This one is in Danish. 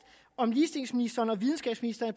om ligestillingsministeren og videnskabsministeren